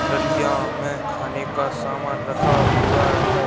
डलिया में खाने का सामान रखा हुआ है।